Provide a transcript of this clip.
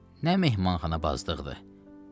Nə mehmanxanabazlıqdır!